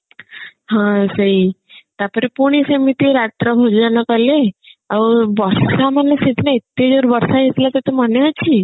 ହଁ ସେଇ ତାପରେ ପୁଣି ସେମିତି ରାତ୍ର ଭୋଜନ କଲେ ଆଉ ବର୍ଷା ମାନେ ସେଇଦିନ ଏତେ ଜୋରେ ବର୍ଷା ହେଉଥିଲା ତତେ ମନେ ଅଛି